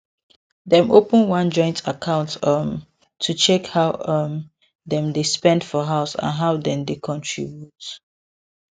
dem open one joint account um to check how um dem dey spend for house and how dem dey contribute